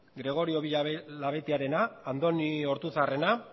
gregorio villalabeitiarena andoni ortuzarrena